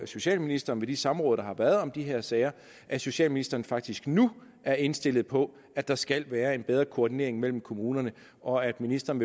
socialministeren ved de samråd der har været om de her sager at socialministeren faktisk nu er indstillet på at der skal være en bedre koordinering mellem kommunerne og at ministeren